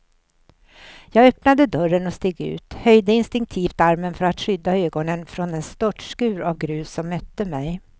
Jag öppnade dörren och steg ut, höjde instinktivt armen för att skydda ögonen från den störtskur av grus som mötte mig.